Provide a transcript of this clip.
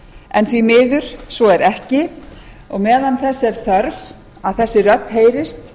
en því miður svo er ekki og meðan þess er þörf að þessi rödd heyrist